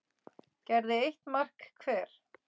gerði eitt mark hver.